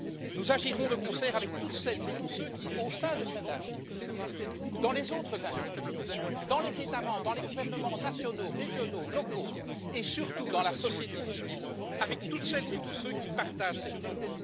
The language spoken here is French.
Nous agirons de concert avec toutes celles et tous ceux qui, au sein de cette institution, dans les autres institutions européennes, dans les États membres, dans les gouvernements nationaux, régionaux, locaux et surtout dans la société civile avec toutes celles et tous ceux qui partagent cette cause.